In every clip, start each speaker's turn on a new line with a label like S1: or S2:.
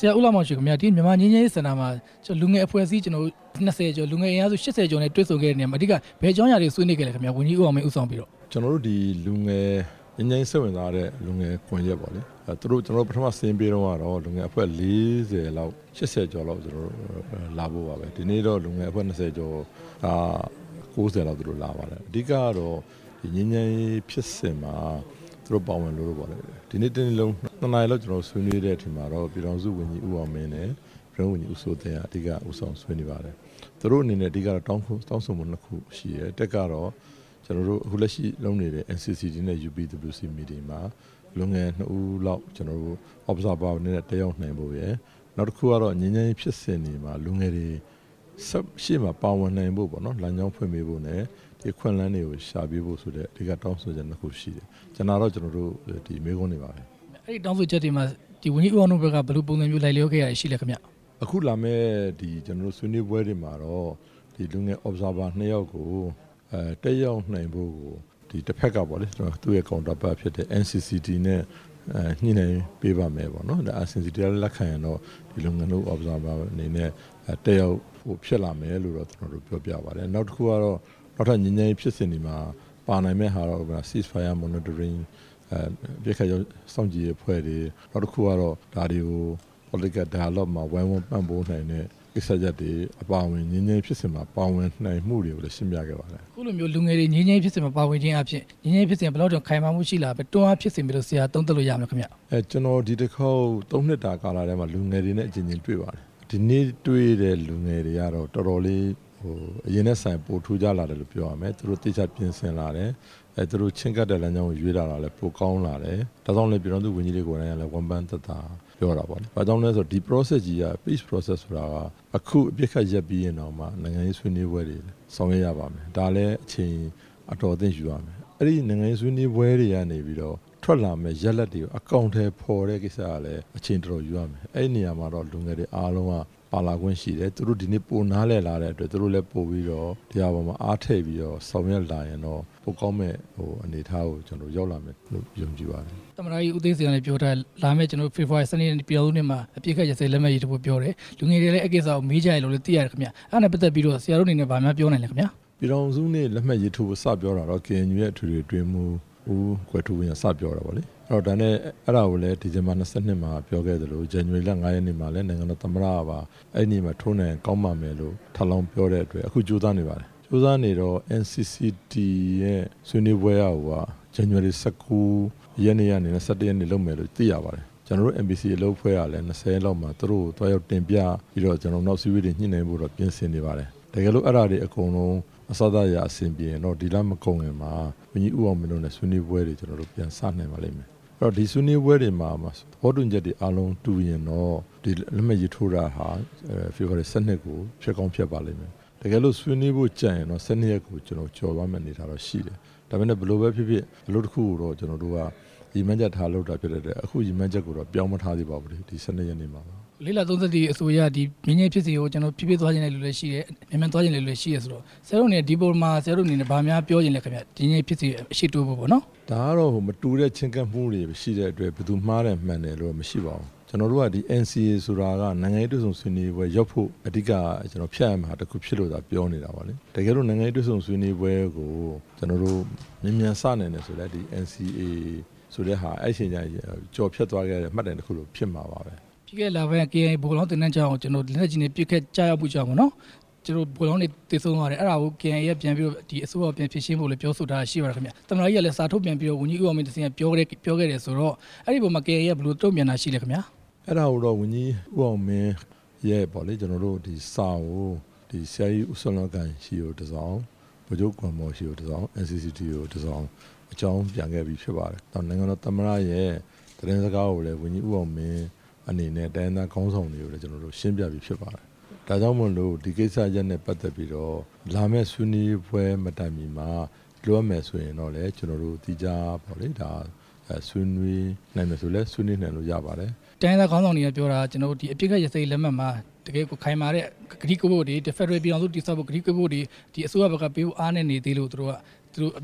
S1: ဆရာဦးလှမောင်ရွှေခင်ဗျာ၊ ဒီနေ့မြန်မာငြိမ်းချမ်းရေးစင်တာမှာ လူငယ်အဖွဲ့အစည်း ၂၀ ကျော်၊ လူငယ်အင်အားစု ၈၀ ကျော်နဲ့ တွေ့ဆုံရာမှာ အဓိက ဘယ်အကြောင်းအရာများဆွေးနွေးခဲ့လဲဗျာ၊ ဝန်ကြီးဦးအောင်မင်း ဦးဆောင်ပြီးတော့။
S2: ကျနော်တို့ ငြိမ်းချမ်းရေးစိတ်ဝင်စားတဲ့ လူငယ်ကွန်ရက်ပေါ့လေ၊ ပထမသူတို့စာရင်းပေးတုန်းကတော့ လူငယ် ၄၀ ကျော်၊ ၈၀ ကျော်ပဲလာဖို့ ပါပဲ၊ ဒီနေ့တော့ လူငယ်အဖွဲ့ ၂၀ ကျော် ၉၀ နီးပါးလောက်သူတို့လာပါတယ်၊ အဓိကကတော့ ငြိမ်းချမ်းရေးဖြစ်စဉ်မှာ သူတို့ပါဝင်ချင်လို့ပေါ့လေ၊ ဒီနေ့တစ်နေ့လုံး ၂ နာရီကျော်လောက် ကျနော်တို့ဆွေးနွေးပြီးတဲ့အခါကျတော့ ဝန်ကြီးဦးအောင်မင်း နဲ့ရုံးဝန်ကြီး ဦးစိုးသိန်းက အဓိကဦးဆောင်ဆွေးနွေးပါတယ်၊ သူတို့အနေနဲ့ အဓိ ကတောင်းဆိုမှု ၂ ခုရှိတယ်၊ ၁ ကတော့ ကျနော်တို့အခုလက်ရှိလုပ်နေတဲ့ NCCT နဲ့ UPWC မှာ လူငယ် ၂ ဦးလောက် တက်ရောက်နိုင်ဖို့ရယ်၊ နောက်တစ်ခု ကတော့ ငြိမ်းချမ်းရေးဖြစ်စဉ်တွေမှာ လူငယ်တွေ ပါဝင်နိုင်ဖို့ လမ်းကြောင်းဖွင့်ပေးဖို့နဲ့ ဒီအခွင့်အလမ်းတွေကိုရှာဖွေပေးဖို့ဆိုတဲ့ တောင်းဆို ချက် ၂ ခုရှိတယ်၊ ကျန်တာတော့ ကျနော်တို့ဒီမေးခွန်းတွေပါပဲ။
S1: အဲ့ဒီတောင်းဆိုချက်တွေမှာ ဝန်ကြီးဦးအောင်မင်းတို့ဖက်က ဘယ်လိုပုံစံမျိုးလိုက်လျောခဲ့တာရှိလဲဗျ။
S2: အခုလာမယ့် ကျနော်တို့ဆွေးနွေးပွဲတွေမှာတော့ လူငယ် ၂ ယောက်ကိုတက်ရောက်နိုင်ဖို့ကို တစ်ဖက်က NCCT နဲ့ညှိနှိုင်းပေးပါမယ်၊ NCCT ကလက်ခံရင်တော့ ဒီလူငယ် ၂ ယောက်တက်ရောက်ဖို့ဖြစ်လာနိုင်ပါတယ်လို့ ကျနော်တို့ပြောပါတယ်၊ နောက်တစ်ခု ကတော့ နောက်ထပ်ငြိမ်း ချမ်းရေးဖြစ်စဉ်တွေမှာပါနိုင်မယ့်ဟာကတော့ အပစ်အခတ်ရပ်စဲရေးစောင့်ကြည့်ရေးအဖွဲ့တွေ၊ နောက်တစ်ခုက တော့ ဒါတွေကို ဝိုင်းဝန်းပံ့ပိုးနိုင်မယ့် ကိစ္စရပ်တွေအပါအဝင်၊ ငြိမ်းချမ်းရေးဖြစ်စဉ်တွေမှာ ပါဝင်နိုင်မှုတွေ ရှင်းပြခဲ့ပါတယ်။
S1: အခုလိုမျိုးလူငယ်တွေ ငြိမ်းချမ်းရေးဖြစ်စဉ်မှာ ပါဝင်ခြင်းအားဖြင့် ငြိမ်းချမ်းရေး ဖြစ်စဉ်က ဘယ်လောက်ထိခိုင်မာပြီးတော့ တွန်း အားဖြစ်စေနိုင်မလဲလို့ ဆရာသုံးသပ်ပါလဲဗျ။
S2: ကျနော်ဒီတစ်ခေါက် ၃ နှစ်တာကာလအတွင်းမှာ လူငယ်တွေနဲ့ အကြိမ်ကြိမ်တွေ့ပါတယ်၊ ဒီနေ့တွေ့တဲ့ လူငယ်တွေကတော့ တော်တော်လေး ထူးခြား လာတယ်လို့ပြောရမယ်၊ သူတို့သေချာပြင်ဆင်လာတယ်၊ သူတို့ချဉ်းကပ်တဲ့ လမ်းကြောင်းရွေးလာတာလဲ ပိုကောင်းလာတယ်၊ ဒါကြောင့် လဲ ပြည်ထောင်စုဝန်ကြီး တွေကိုယ်တိုင် ဝမ်းသာစွာ ပြောတာပေါ့၊ ဘာကြောင့်လဲဆိုတော့ ဒီဖြစ်စဉ်ကြီးက ငြိမ်းချမ်းရေးဖြစ်စဉ်ဆိုတာက အခုအပစ်အခတ် ရပ်စဲတဲ့နောက်မှာ နိုင်ငံရေးဆွေးနွေးပွဲ တွေဆောင်ရွက်ရပါမယ်၊ ဒါလဲအချိန်အတော်အသင့်ယူရမယ်၊ အဲ့ဒီနိုင်ငံရေးဆွေးနွေးပွဲ တွေကနေ ထွက်လာမယ့် ရလာဒ်ကို အကောင်အထည်ဖော်တဲ့ကိစ္စကလဲ အချိန်အတော် ယူရမယ်၊ အဲ့နေရာမှာတော့ လူငယ်တွေအားလုံးကပါဝင်ခွင့်ရှိတယ်၊ ဒီနေ့ပိုနားလည်လာ တဲ့အတွက် ပိုပြီးတော့ အားထည့်ပြီးဆောင်ရွက်လာရင်တော့ ပိုကောင်းမယ့်အနေ အထားကိုရောက်လာမယ်လို့ကျနော်ယုံကြည်ပါတယ်။
S1: သမ္မတကြီးဦးသိန်းစိန်ကပြောထားတယ်၊ လာမယ့်ဖေဖော်ဝါရီလ ၁၂ ရက်နေ့ ပြည်ထောင်စုနေ့မှာ အပစ်အခတ်ရပ်စဲရေးလက်မှတ် ထိုးမယ်လို့ပြောထား တယ်၊ လူငယ်တွေကလဲအဲ့ကိစ္စနဲ့ ပတ်သက်ပြီးမေးတယ်လို့သိရတယ်ခင်ဗျ၊ အဲ့ဒါနဲ့ပတ်သက်ပြီး ဆရာတို့အနေနဲ့ ဘာများပြောချင် ပါလဲခင်ဗျာ။
S2: ပြည်ထောင်စုနေ့လက်မှတ်ရေးထိုးပွဲစပြောတာတော့ KNU ရဲ့အထွေထွေရေးမှူး ဦးပဒိုကွယ်ထူးဝင်းက စပြောတာပေါ့လေ၊ အဲ့ဒါနဲ့ ဒီဇင်ဘာ ၂၂ ရက်နေ့မှာ ပြောခဲ့သလို၊ ဇန်နဝါရီလ ၅ ရက်နေ့မှာလဲ နိုင်ငံတော်သမ္မတကပါ အဲ့နေ့မှာ ထိုးနိုင်ရင်တော့ကောင်းမှာပဲလို့ ထပ်လောင်းပြောတဲ့အတွက် အခုကြိုး စားနေပါတယ်၊ ကြိုးစားနေတော့ NCCT ရဲ့ဆွေးနွေးပွဲကိုက ဇန်နဝါရီ ၁၉ ရက်ကနေ ၂၁ ရက်နေ့ထိလုပ်မယ်လို့သိရပါတယ်၊ ကျနော်တို့ MPC အလုပ်အဖွဲ့ကလဲ ၂၀ ရက်နေ့မှာ သူတို့ကို သွားရောက်တင်ပြပြီးတော့ ကျနော်တို့နောက်အစည်းအဝေးတွေလုပ်ဖို့ ကျနော်တို့ပြင်ဆင်နေပါတယ်၊ တကယ်လို့ကျနော်တို့ အဲ့ဒါတွေအစစ၊ အရာရာ အဆင် ပြောရင်တော့ ဒီလမကုန်ခင်မှာအရင်ဦးအောင်မင်းနဲ့ဆွေးနွေးပွဲတွေပြန်စနိုင်ပါလိမ့်မယ်၊ အရင်ဆွေးနွေးပွဲတွေမှာ သဘော တူညီချက်တွေတူရင်တော့ လက်မှတ်ရေးထိုးတာဟာ ဖေဖော်ဝါရီ ၁၂ ကိုဖြစ်ကောင်းဖြစ်ပါ့လိမ့်မယ်၊ တကယ်လို့ဆွေးနွေးဖို့ကျန်ရင် ၁၂ ရက် နေ့ကို ကျော်သွား မယ့်အနေအထားရှိတယ်၊ ဒါပေမယ့်ဘယ်လိုပဲဖြစ်ဖြစ် အလုပ်တစ်ခု ကိုရည်မှန်းချက်ထားပြီးတော့ လုပ်တဲ့အတွက်အခုရည်မှန်းချက်ကိုတော့ ပြောင်းမထားသေး ပါဘူးလေ၊
S1: လေ့လာသုံးသပ်တဲ့အဆိုအရ ငြိမ်းချမ်းရေးဖြစ်စဉ်ကို ပြေပျက်သွားချင်တဲ့လူလဲရှိတယ်၊ မြန်မြန်သွားချင်တဲ့လူလဲရှိတယ် ဆိုတော့ ဆရာတို့ အနေနဲ့ဘာများပြောချင်လဲဗျ၊ ဒီငြိမ်းချမ်းရေးဖြစ်စဉ်နဲ့ပေါ့နော်။
S2: ဒါကတော့မတူတဲ့ ချဉ်းကပ်မှုတွေရှိတဲ့အတွက်ဘယ်သူမှားတယ်၊ မှန်တယ်ဆိုတာတော့ မရှိပါဘူး၊ ကျနော်တို့က နိုင်ငံရေးဆွေးနွေးပွဲ ဆိုတာရောက်ဖို့ အဓိကဖြတ်ရမှာတစ်ခုဖြစ်လို့သာပြောနေတာပေါ့လေ၊ တကယ်လို့နိုင်ငံရေးဆွေးနွေးပွဲ ကိုမြန်မြန်စနိုင်တယ်ဆိုလဲ NCA ဆိုတာအဲ့ချိန် ကျရင် ကျော်ဖြတ်သွားခဲ့တဲ့မှတ်တိုင် တစ်ခုလိုဖြစ်မှာပါပဲ၊
S1: ပြီးခဲ့တဲ့လက KIA ဗိုလ်လောင်းလေ့ကျင့်ရေးကျောင်းကို လက်နက်ကြီးကျရောက်ပစ်ခတ်မှုကြောင့် ဗိုလ်လောင်းတွေသေဆုံးသွားတယ်၊ အဲ့ဒါကို KIA ကအစိုးရကိုပြန်ဖြေရှင်းဖို့လဲပြောဆိုထားတယ်၊ သမ္မတကြီးကလဲ စာထုန်ပြန်ပြီး တော့ဝန်ကြီး ဦးအောင်မင်းကတဆင့်ပြောခဲ့တယ်ဆိုတော့ အဲ့ပေါ်မှာ KIA ကဘယ်လို တုန့်ပြန်တာရှိလဲခင်ဗျာ။
S2: အဲ့ဒါကတော့ ဝန်ကြီးဦးအောင်မင်းရဲ့စာကို ဆရာကြီးဦးစောနသန် ဆီကိုတစ်စောင်၊ ဗိုလ်ချုပ်ဂွန်မော်ဆီကိုတစ်စောင်၊ NCCT ကိုတစ်စောင် အကြောင်း ပြန်ခဲ့ပြီးဖြစ်ပါတယ်၊ နိုင်ငံတော်သမ္မတရဲ့သတင်းစကားကိုလဲ ဝန်ကြီးဦးအောင်မင်း အနေနဲ့ တိုင်းရင်းသားခေါင်းဆောင်တွေကိုလဲ ကျနော်တို့ ရှင်းပြပြီးဖြစ်ပါတယ်၊ ဒါကြောင့်မို့လို့ ဒီကိစ္စနဲ့ပတ်သက်ပြီးတော့ လာမယ့်ဆွေးနွေးပွဲမတိုင်ခင်မှာ သီးခြားဆွေးနွေးမယ်ဆိုလဲ ဆွေးနွေးနိုင်ပါတယ်။
S1: တိုင်းရင်းသားခေါင်းဆောင်တွေပြောတာက အပစ်အခတ်ရပ်စဲရေး လက်မှတ်မှာ ခိုင်မာတဲ့ဂတိကဝတ်တွေ၊ ဖက်ဒရယ်ပြည်ထောင်စု တည်ထောင်ဖို့ ဂတိကဝတ်တွေ အစိုးရဖက်ကပေးဖို့အားနည်းနေသေးလို့ အပစ်အခ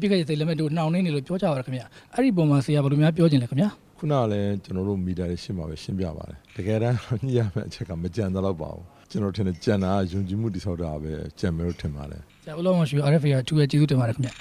S1: တ်ရပ်စဲရေး နှောင့်နှေးနေတယ်လို့ ပြောကြပါတယ်ခင်ဗျ၊ အဲ့အပေါ်မှာ ဆရာဘယ်လိုများပြောချင်လဲ ခင်ဗျာ။
S2: ခုနကလဲ ကျနော်တို့မီဒီယာတွေရှေ့မှာပဲရှင်းပြပါတယ်၊ တကယ်တမ်းညှိရမယ့်အချက်ကမကျန်လောက်ပါဘူး၊ ကျနော်ထင်တယ်၊ ကျန်တာက ယုံကြည်မှုတည်ဆောက်တာလို့ပဲ ကျနော်ထင်ပါတယ်။
S1: ဆရာဦးလှမောင်ရွှေကို RFA ကကျေးဇူးတင်ပါတယ်ခင်ဗျ